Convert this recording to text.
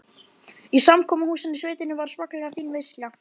Í samkomuhúsinu í sveitinni var svakalega fín veisla.